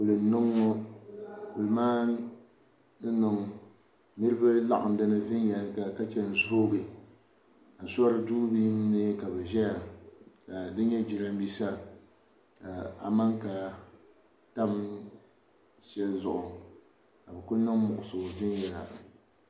kuli n niŋ ŋɔ kuli maa ni niŋ niriba laɣim di ni viɛnyɛlinga ka che n-zoogi asoriduu ni mii ka bɛ ʒeya ka di nyɛ jirambisa ka amanka tam shɛli zuɣu ka bɛ ku niŋ muɣisigu viɛnyɛla